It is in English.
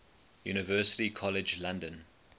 university college london